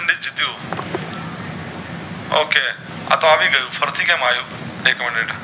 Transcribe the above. OK આતો આવી ગયું છે ફરીથી કેમ આવ્યું એક minute